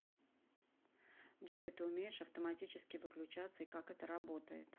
джой ты умеешь автоматически выключаться и как это работает